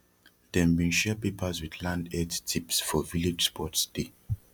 dem bin share papers with land health tips for village sports day